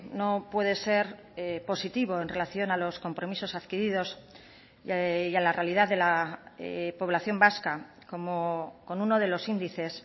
no puede ser positivo en relación a los compromisos adquiridos y a la realidad de la población vasca con uno de los índices